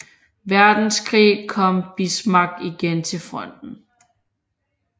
Verdenskrig kom Bismarck igen til fronten